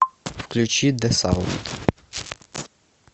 включи дэсаунд